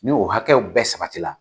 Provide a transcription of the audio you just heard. Ni o hakɛw bɛɛ sabati la